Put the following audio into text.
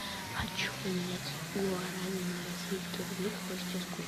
хочу поменять гуарани на российские рубли какой сейчас курс